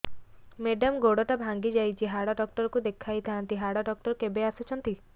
madam ଗୋଡ ଟା ଭାଙ୍ଗି ଯାଇଛି ହାଡ ଡକ୍ଟର ଙ୍କୁ ଦେଖାଇ ଥାଆନ୍ତି ହାଡ ଡକ୍ଟର କେବେ ଆସୁଛନ୍ତି